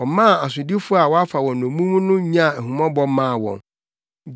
Ɔmaa asodifo a wɔafa wɔn nnommum no nyaa ahummɔbɔ maa wɔn.